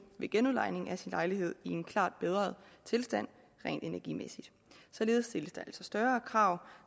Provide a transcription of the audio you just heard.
ved genudlejning af sin lejlighed i en klart bedret tilstand rent energimæssigt således stilles der altså større krav